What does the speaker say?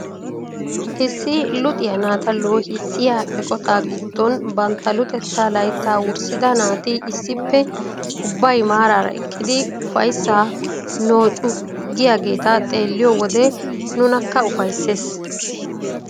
Issi luxiyaa naata loohissiyaa eqotaa giddon bantta luxettaa layttaa wurssida naati issippe ubbay maarara eqqidi ufayssaa nooccu giyaageta xeelliyoo wode nunakka ufayssees.